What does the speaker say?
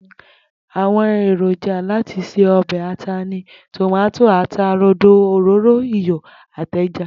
Àwo̩n èrònjà láti se o̩bè̩ ata ni tòmáto, ata rodo, òróró, iyò̩ àti e̩ja